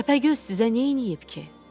Təpəgöz sizə neyniyib ki?